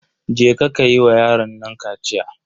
Je ka yi wa yaron nan kaciya.